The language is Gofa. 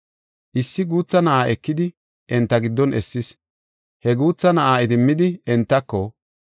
Issi guutha na7aa ekidi, enta giddon essis; he guutha na7aa idimmidi entako,